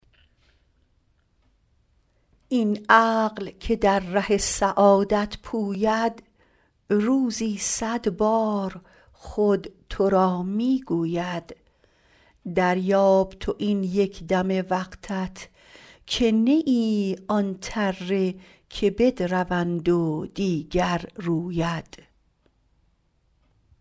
این عقل که در ره سعادت پوید روزی صد بار خود تو را می گوید دریاب تو این یک دم وقتت که نه ای آن تره که بدروند و دیگر روید